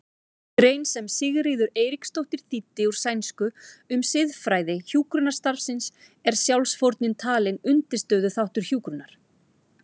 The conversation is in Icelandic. grein sem Sigríður Eiríksdóttir þýddi úr sænsku um siðfræði hjúkrunarstarfsins er sjálfsfórnin talin undirstöðuþáttur hjúkrunar.